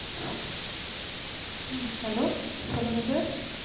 ஹம் hello சொல்லுங்க sir